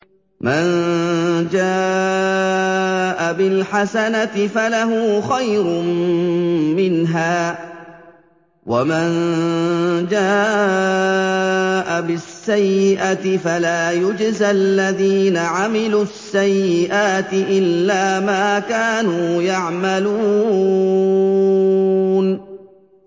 مَن جَاءَ بِالْحَسَنَةِ فَلَهُ خَيْرٌ مِّنْهَا ۖ وَمَن جَاءَ بِالسَّيِّئَةِ فَلَا يُجْزَى الَّذِينَ عَمِلُوا السَّيِّئَاتِ إِلَّا مَا كَانُوا يَعْمَلُونَ